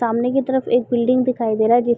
सामने की तरफ एक बिल्डिंग दिखाई दे रहा है जिस --